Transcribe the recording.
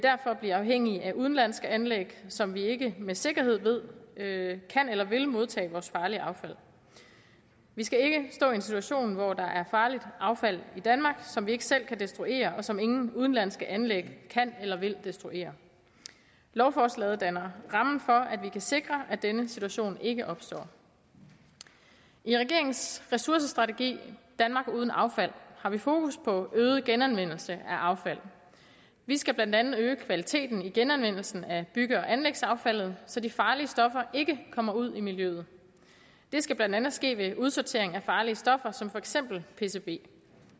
blive afhængige af udenlandske anlæg som vi ikke med sikkerhed ved kan eller vil modtage vores farlige affald vi skal ikke stå i en situation hvor der er farligt affald i danmark som vi ikke selv kan destruere og som ingen udenlandske anlæg kan eller vil destruere lovforslaget danner rammen for at vi kan sikre at denne situation ikke opstår i regeringens ressourcestrategi danmark uden affald har vi fokus på øget genanvendelse af affald vi skal blandt andet øge kvaliteten i genanvendelsen af bygge og anlægsaffaldet så de farlige stoffer ikke kommer ud i miljøet det skal blandt andet ske ved udsortering af farlige stoffer som for eksempel pcb